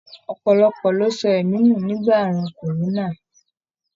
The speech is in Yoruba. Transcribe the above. Ọpọlọpọ lo sọ ẹ̀mí nu nígbà àrùn korona.